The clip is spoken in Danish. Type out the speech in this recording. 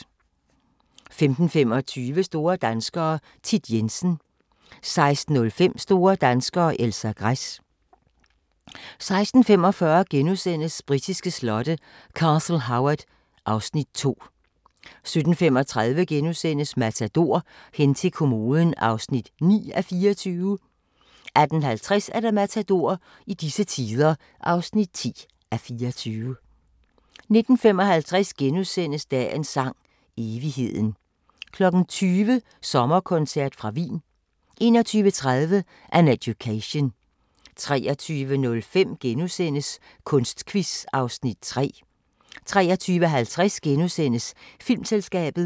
15:25: Store danskere - Thit Jensen 16:05: Store danskere - Elsa Gress 16:45: Britiske slotte: Castle Howard (Afs. 2)* 17:35: Matador - hen til kommoden (9:24)* 18:50: Matador - i disse tider (10:24) 19:55: Dagens Sang: Evigheden * 20:00: Sommerkoncert fra Wien 21:30: An Education 23:05: Kunstquiz (Afs. 3)* 23:50: Filmselskabet *